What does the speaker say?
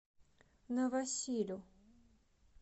новосилю